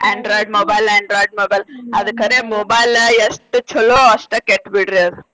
Android mobile android mobile ಅದ್ ಕರೆ mobile ಎಷ್ಟ್ ಚೊಲೋ ಅಷ್ಟ ಕೆಟ್ಟ್ ಬಿಡ್ರಿ ಅದ್.